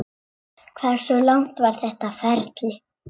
Hversu langt var þetta ferli?